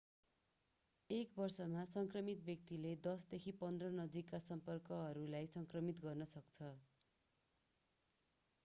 एक वर्षमा संक्रमित व्यक्तिले 10 देखि 15 नजिकका सम्पर्कहरूलाई संक्रमित गर्न सक्छ